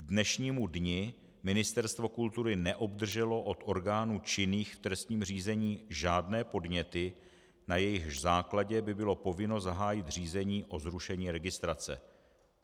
K dnešnímu dni Ministerstvo kultury neobdrželo od orgánů činných v trestním řízení žádné podněty, na jejichž základě by bylo povinno zahájit řízení o zrušení registrace.